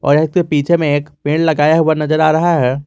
पीछे में एक पेड़ लगाया हुआ नजर आ रहा है।